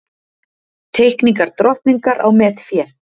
Teikningar drottningar á metfé